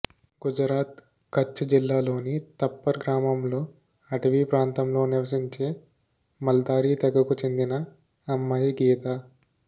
గుజరాత్ కచ్ జిల్లాలోని తప్పర్ గ్రామంలో అటవీ ప్రాంతంలో నివసించే మాల్దారి తెగకు చెందిన అమ్మాయి గీత